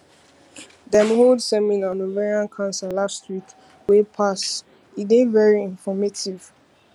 dem hold seminar on ovarian cancer last week wey pass e dey very informative